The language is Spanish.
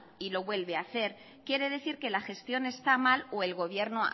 y lo vuelve a hacer quiere decir que la gestión está mal o el gobierno